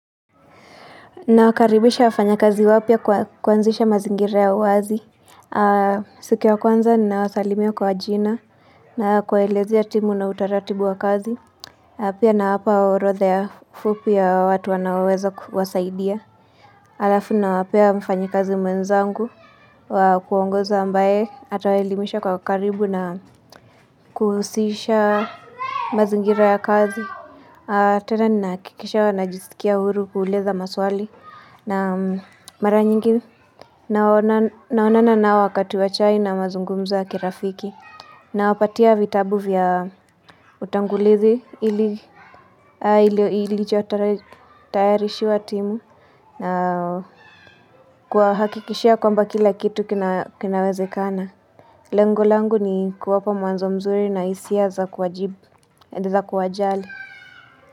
Nawakaribisha wafanya kazi wapya kwa kuanzisha mazingira ya wazi. Siku ya kwanza ninawasalimia kwa jina na kwa kuwaelezea timu na utaratibu wa kazi. Pia nawapa orodha ya fupi ya watu wanaoweza kuwasaidia. Alafu nawapea mfanyikazi mwenzangu, wa kuongoza ambaye atawaelimisha kwa ukaribu na kuhusisha mazingira ya kazi. Tena ninahakikisha wanajisikia huru kuuliza maswali na mara nyingi naonana nao wakati wa chai na mazungumzo ya kirafiki. Nawapatia vitabu vya utangulizi ili iliyochotayarishiwa timu na kuwahakikishia kwamba kila kitu kinawezekana. Lengo langu ni kuwapa mwanzo mzuri na hisia za kuwajibu ediza kuwajali.